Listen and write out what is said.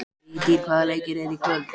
Vigtýr, hvaða leikir eru í kvöld?